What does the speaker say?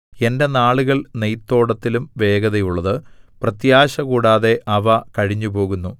എന്റെ നാളുകൾ നെയ്ത്തോടത്തിലും വേഗതയുള്ളത് പ്രത്യാശകൂടാതെ അവ കഴിഞ്ഞുപോകുന്നു